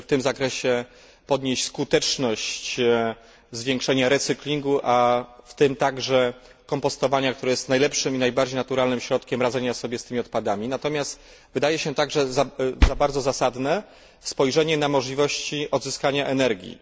Należy w tym zakresie podnieść skuteczność zwiększania recyklingu, w tym także kompostownia, które jest najlepszym i najbardziej naturalnym środkiem radzenia sobie z tymi odpadami. Natomiast wydaje się także bardzo zasadne spojrzenie na możliwości odzyskania energii.